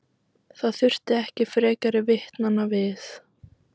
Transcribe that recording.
Það þurfti ekki frekari vitnanna við.